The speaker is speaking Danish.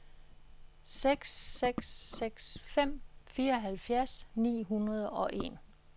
seks seks seks fem fireoghalvfjerds ni hundrede og en